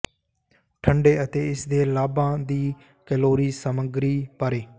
ਠੰਡੇ ਅਤੇ ਇਸ ਦੇ ਲਾਭਾਂ ਦੀ ਕੈਲੋਰੀ ਸਮੱਗਰੀ ਬਾਰੇ